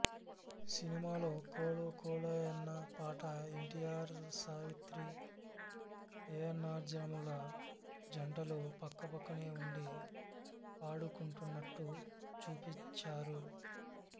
సినిమాలో కోలో కోలోయన్న పాట ఎన్టీఆర్సావిత్రి ఏఎన్నార్జమున జంటలు పక్కపక్కనే ఉండి పాడుకుంటున్నట్టు చూపించారు